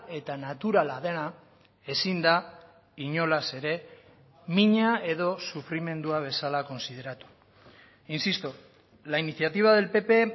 eta naturala dena ezin da inolaz ere mina edo sufrimendua bezala kontsideratu insisto la iniciativa del pp